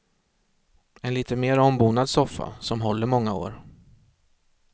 En lite mer ombonad soffa, som håller många år.